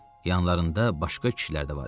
Yanlarında başqa kişilər də var idi.